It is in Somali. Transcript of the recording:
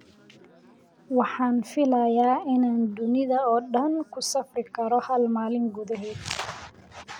Waxaan filayaa inaan dunida oo dhan ku safri karo hal maalin gudaheed